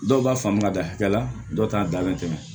Dɔw b'a faamu ka da hakɛ la dɔw t'a dalen tɛmɛ